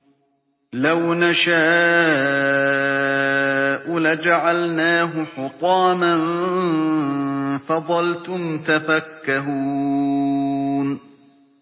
لَوْ نَشَاءُ لَجَعَلْنَاهُ حُطَامًا فَظَلْتُمْ تَفَكَّهُونَ